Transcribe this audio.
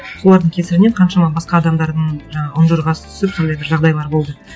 солардың кесірінен қаншама басқа адамдардың жаңа үнжұрғасы түсіп сондай бір жағдайлар болды